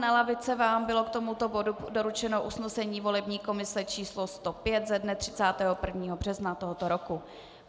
Na lavice vám bylo k tomuto bodu doručeno usnesení volební komise číslo 105 ze dne 31. března tohoto roku.